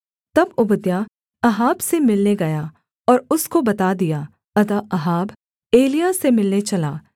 तब Obadiah Ahab से मिलने गया और उसको बता दिया अतः अहाब एलिय्याह से मिलने चला